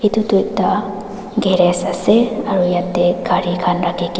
etu tu ekta garage ase aru yaate gari khan rakhi ki--